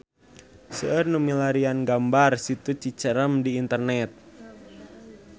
Seueur nu milarian gambar Situ Cicerem di internet